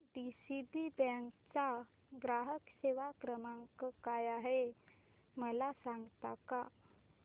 DCB bank चा ग्राहक सेवा क्रमांक काय आहे मला सांगता का